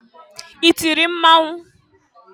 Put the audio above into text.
I tiri mmọnwụ?